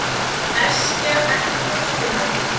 Eskja, ekki fórstu með þeim?